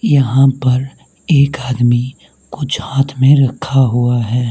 यहां पर एक आदमी कुछ हाथ में रखा हुआ है।